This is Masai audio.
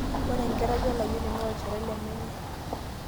Ore enkerai layioni naa olchore le menye .